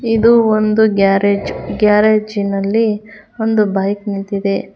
ಇದು ಒಂದು ಗ್ಯಾರೇಜ್ ಗ್ಯಾರೇಜಿನಲ್ಲಿ ಒಂದು ಬೈಕ್ ನಿಂತಿದೆ.